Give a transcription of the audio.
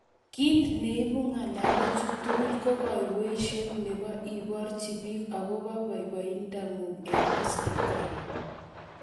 Kiit neibu ng'alechu tugul ko kaiweisiet nebo iborji biik akobo boiboiyeng'ung eng Instagram